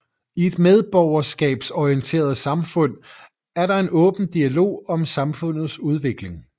I et medborgerskabsorienteret samfund er der en åben dialog om samfundets udvikling